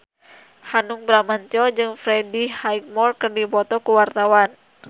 Hanung Bramantyo jeung Freddie Highmore keur dipoto ku wartawan